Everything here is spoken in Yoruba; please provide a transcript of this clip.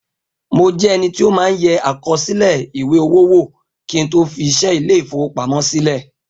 Mo jẹ́ ẹni tí ó máa ń yẹ àkọsílẹ̀ ìwé-owó wò kín tó fi iṣẹ́ Ilé-ìfowópamó sílè